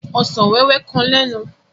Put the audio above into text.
Ọsàn wẹ́wẹ́ kan lénu.